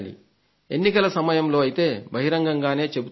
ఎన్నికల సమయంలో అయితే బహిరంగంగానే చెబుతుంటారు